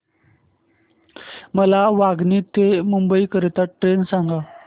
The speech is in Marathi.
मला वांगणी ते मुंबई करीता ट्रेन सांगा